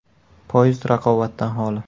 Poyezd raqobatdan xoli.